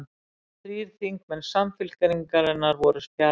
Þrír þingmenn Samfylkingarinnar voru fjarverandi